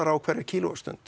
á hverja